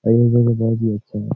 ओर ये जगह बहुत ही अच्छा है।